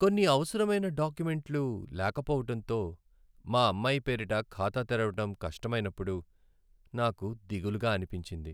కొన్ని అవసరమైన డాక్యుమెంట్లు లేకపోవటంతో మా అమ్మాయి పేరిట ఖాతా తెరవడం కష్టమైనప్పుడు నాకు దిగులుగా అనిపించింది.